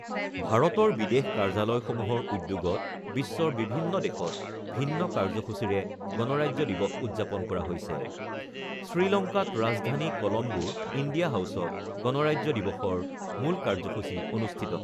ভাৰতৰ বিদেশ কাৰ্যালয়সমূহৰ উদ্যোগত বিশ্বৰ বিভিন্ন দেশত ভিন্ন কাৰ্যসূচীৰে গণৰাজ্য দিৱস উদ্যাপন কৰা হৈছে। শ্ৰীলংকাত ৰাজধানী কলম্বোৰ ইণ্ডিয়া হাউচত গণৰাজ্য দিৱসৰ মূল কাৰ্যসূচী অনুষ্ঠিত